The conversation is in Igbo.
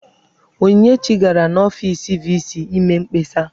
Onyinyechi gara n'ọfiisi VC ime mkpesa.